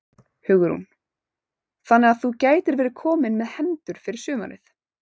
Hugrún: Þannig að þú gætir verið kominn með hendur fyrir sumarið?